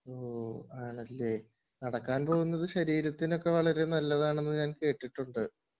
ആണല്ലേ ,,നടക്കാൻ പോകുന്നത് ശരീരത്തിനൊക്കെ വളരെ നല്ലതാണെന്ന് ഞാൻ കേട്ടിട്ടുണ്ട്